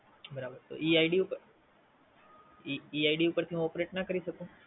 બરાબર તો ઈ ID ઉપર. તો ઈ ID ઉપરથી હું Operate ના કરી શકું?